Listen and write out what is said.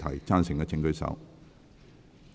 贊成的請舉手。